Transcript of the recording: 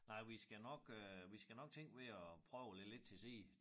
Nej vi skal nok øh vi skal nok tænke ved at prøve at lægge lidt til side